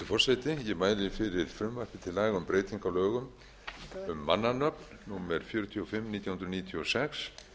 laga um breytingu á lögum um mannanöfn númer fjörutíu og fimm nítján hundruð níutíu og sex